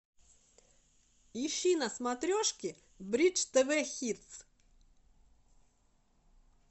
ищи на смотрешке бридж тв хит